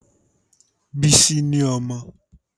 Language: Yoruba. Bísí ni ọmọ